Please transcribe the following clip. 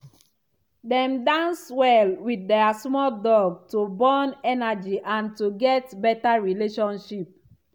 dem dance well with their small dog to burn energy and to get better relationship.